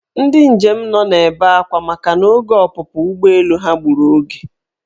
Ndị njem nọ na-ebe akwa makana oge ọpụpụ ụgbọelu ha gburu oge.